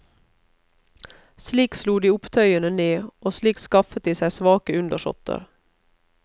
Slik slo de opptøyene ned, og slik skaffet de seg svake undersåtter.